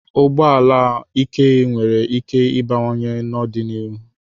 Ụgbọ ala ike nwere íké ịbawanye n'ọdịnihu.